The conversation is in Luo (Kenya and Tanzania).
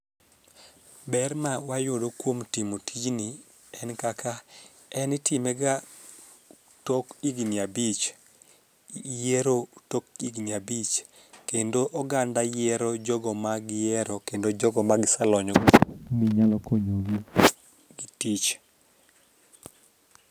Ber ma wayudo kuom timo tijni en kaka en itime ga tok higni abich yiero tok higni abich. Kendo oganda yiero jogo ma giyiero kendo jogo ma giselony go ni nyalo konyo gi tich